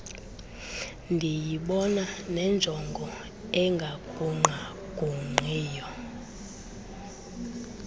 ndiyibona nenjongo engagungqagungqiyo